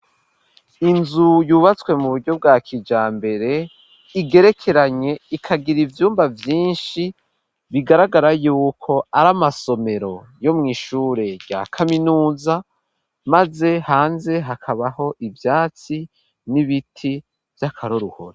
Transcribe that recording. Inzu yubatswe mu buryo bwa kija mbere, igerekeranye ikagira ivyumba vyinshi ,bigaragara yuko ari amasomero yo mw' ishure rya kaminuza, maze hanze hakabaho ivyatsi n'ibiti vy'akaroruhore.